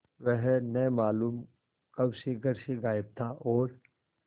वह न मालूम कब से घर से गायब था और